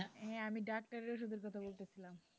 হ্যাঁ আমি ডাক্তারের ওষুধ এর কথা বলতেছিলাম।